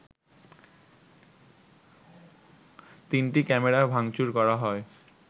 তিনটি ক্যামেরা ভাংচুর করা হয়